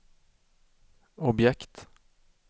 objekt